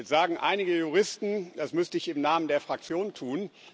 Jetzt sagen einige Juristen, das müsste ich im Namen der Fraktion tun.